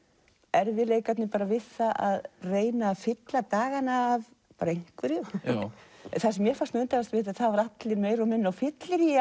erfiðleikarnir við það að reyna að fylla dagana af bara einhverju það sem mér fannst undarlegast var að allir voru meira og minna á fylleríi